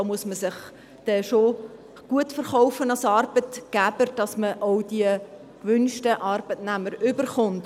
Als Arbeitgeber muss man sich da gut verkaufen, damit man die gewünschten Arbeitnehmer auch erhält.